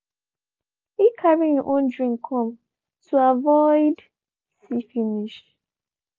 he carry him own drink come to avoid see finish